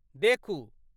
देखू।